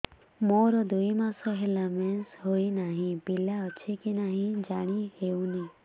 ମୋର ଦୁଇ ମାସ ହେଲା ମେନ୍ସେସ ହୋଇ ନାହିଁ ପିଲା ଅଛି କି ନାହିଁ ଜାଣି ହେଉନି